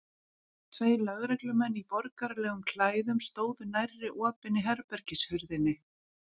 Tveir lögreglumenn í borgaralegum klæðum stóðu nærri opinni herbergishurðinni.